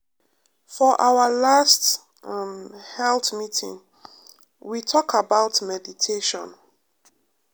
for our last um health meeting we talk about meditation.